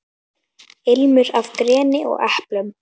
Ilmur af greni og eplum.